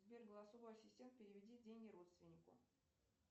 сбер голосовой ассистент переведи деньги родственнику